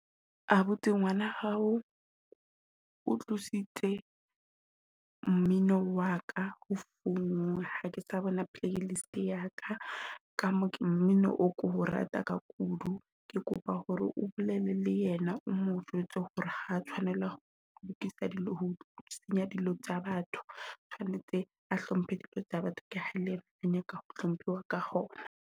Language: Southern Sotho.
Abuti ngwana hao o tlositse mmino wa ka o founung. Ha ke sa bona playlist yaka ka mo ke mmino o ko rata ka kudu. Ke kopa hore o bolele le yena, o mo jwetse hore ha tshwanela ho lokisa dilo, ho senya dilo tsa batho tshwanetse a hlomphe dilo tsa batho. Ka le ena o nyaka a hlomphiwe ka hona.